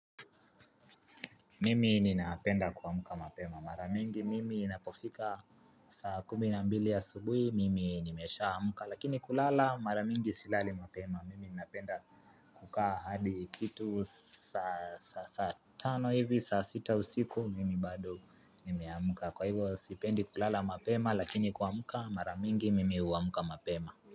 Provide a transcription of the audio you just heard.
Mimi ninapenda kuamka mapema. Maramingi mimi inapofika saa kumi na mbili asubuhi. Mimi nimesha amka. Lakini kulala maramingi silali mapema. Mimi ninapenda kukaa hadi kitu saa tano hivi saa sita usiku. Mimi bado nimeamka. Kwahivyo sipendi kulala mapema. Lakini kuamka maramingi mimi uamka mapema.